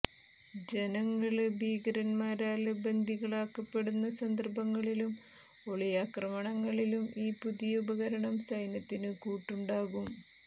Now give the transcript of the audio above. ജനങ്ങള് ഭീകരന്മാരാല് ബന്ദികളാക്കപ്പെടുന്ന സന്ദര്ഭങ്ങളിലും ഒളിയാക്രമണങ്ങളിലും ഈ പുതിയ ഉപകരണം സൈന്യത്തിന് കൂട്ടുണ്ടാകും